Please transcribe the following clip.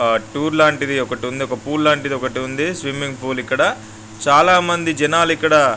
ఆ టూర్ లాంటిది ఒకటుంది. ఒక పూల్ లాంటిది ఒకటుంది. స్విమ్మింగ్ పూల్ ఇక్కడ చాలా మంది జనాలిక్కడ--